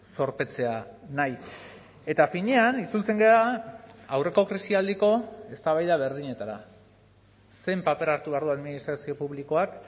zorpetzea nahi eta finean itzultzen gara aurreko krisialdiko eztabaida berdinetara zein paper hartu behar du administrazio publikoak